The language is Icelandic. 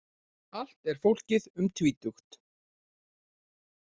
Allt er fólkið um tvítugt